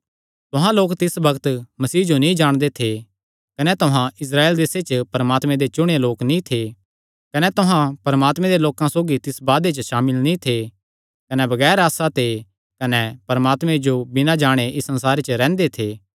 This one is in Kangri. तुहां लोक तिस बग्त मसीह जो नीं जाणदे थे कने तुहां इस्राएल देसे च परमात्मे दे चुणेयो लोक नीं थे कने तुहां परमात्मे दे लोकां सौगी तिस वादे च भी सामिल नीं थे कने बगैर आसा ते कने परमात्मे जो बिना जाणे इस संसारे च रैंह्दे थे